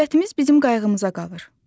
Dövlətimiz bizim qayğımıza qalır.